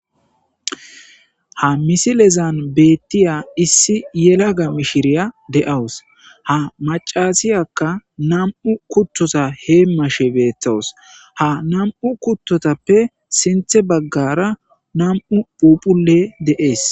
ha misilezan beettiya issi yelaga mishiriya de7awus ha macasiyakka nam7u kuttota hee mashe beetowus ha nam7u kuttotappe sinthe baggara nam7u phuphule deees